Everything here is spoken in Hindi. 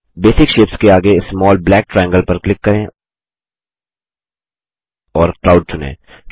बेसिक शेप्स के आगे स्मॉल ब्लैक ट्रायंगल पर क्लिक करें और क्लाउड चुनें